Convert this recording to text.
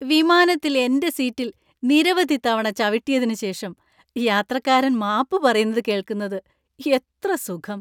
വിമാനത്തിൽ എന്‍റെ സീറ്റിൽ നിരവധി തവണ ചവിട്ടിയതിനുശേഷം യാത്രക്കാരൻ മാപ്പ് പറയുന്നത് കേൾക്കുന്നത് എത്ര സുഖം!